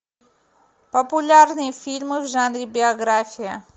популярные фильмы в жанре биография